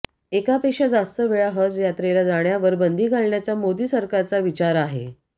एकापेक्षा जास्त वेळा हज यात्रेला जाण्यावर बंदी घालण्याचा मोदी सरकारचा विचार आहे